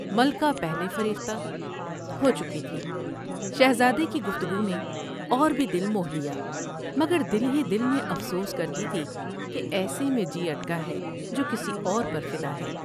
ملکہ پہلے فریفتہ ہو چکی تھی ، شہزادے کی گفتگو نے اور بھی دل موہ لیا مگر دل ہی دل میں افسوس کرتی تھی کہ ایسے میں جی اٹکا ہے جو کسی اور پر فدا ہے ۔